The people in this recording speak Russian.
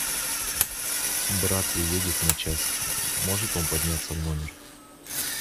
брат приедет на час может он подняться в номер